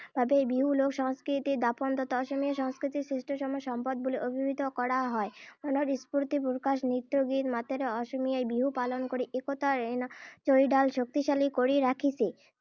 বাবেই বিহু লোক সংস্কৃতিৰ দপোন তথা অসমীয়া সংস্কৃতিৰ শ্ৰেষ্ঠতম সম্পদ বুলি অভিহিত কৰা হয়। মনৰ স্ফূৰ্তি প্ৰকাশৰে নৃত্য গীত মাতেৰে অসমীয়াই বিহু পালন কৰি একতাৰ এনাজৰীডাল শক্তিশালী কৰি ৰাখিছে।